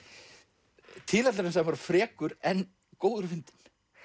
tilætlunarsamur og frekur en góður og fyndinn